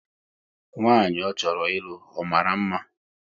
Nwanyị ọ chọrọ ịlụ, ọ mara mma?